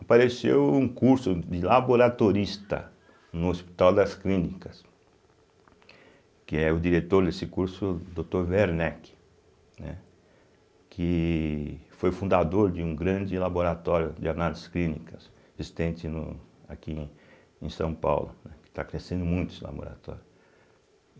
Apareceu um curso de laboratorista no Hospital das Clínicas, que é o diretor desse curso, o Dr. Werneck, né, que foi fundador de um grande laboratório de análises clínicas existente no aqui em São Paulo, né, que está crescendo muito esse laboratório.